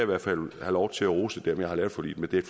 vil have lov til at rose dem jeg har lavet forliget med det er